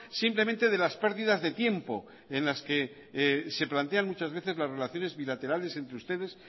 simplemente de las pérdidas de tiempo en las que se plantean muchas veces las relaciones bilaterales entre ustedes